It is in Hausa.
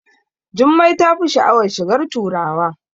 Jummai tafi sha'awar shigar turawa